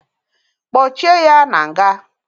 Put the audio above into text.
Kpochie ya na nga!